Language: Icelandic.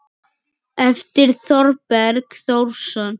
eftir Þorberg Þórsson